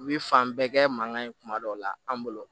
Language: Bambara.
U bɛ fan bɛɛ kɛ mankan ye kuma dɔ la an bolo